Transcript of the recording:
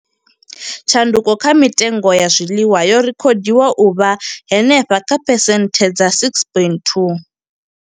Tshanduko kha mitengo ya zwiḽiwa yo rekhodiwa u vha henefha kha phesenthe dza 6.2.